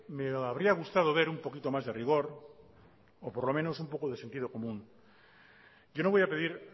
me habría gustado ver un poquito más de rigor o por lo menos un poco de sentido común yo no voy a pedir